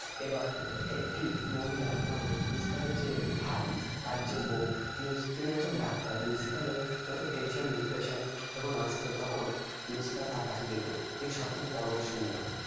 এবার একটি মহিলা মানে Lucifer এর যে ভাই, তার যে বউ, উম তিনি একজন doctor । Lucifer এর যত tension, depression যখন আসত, তখন Lucifer তার কাছে যেত এ সবকিছু পরামর্শ নিত